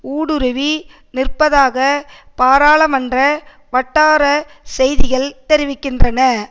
ஊடுருவி நிற்பதாக பாராளமன்ற வட்டார செய்திகள் தெரிவிக்கின்றன